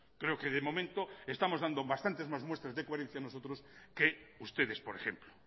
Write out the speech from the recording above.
creo que de momento estamos dando bastantes más muestras de coherencia nosotros que ustedes por ejemplo